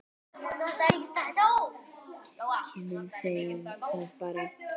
Kynnum þeim það bara.